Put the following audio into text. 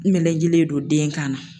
melekelen don den kan na.